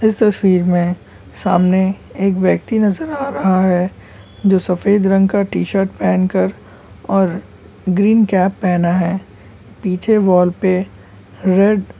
इस तस्वीर में सामने एक व्यक्ति नजर आ रहा है। जो सफेद रंग का टी शर्ट पहन कर और ग्रीन कैप पहना है। पीछे वॉल पे रेड --